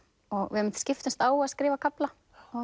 og við einmitt skiptumst á að skrifa kafla